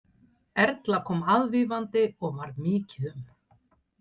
Erla kom aðvífandi og varð mikið um.